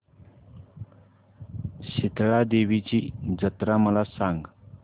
शितळा देवीची जत्रा मला सांग